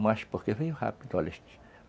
Mas porque veio rápido, olha.